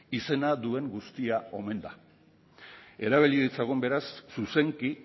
izena duen guztia omen da erabili ditzagun beraz zuzenki